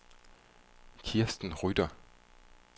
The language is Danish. Kirsten Rytter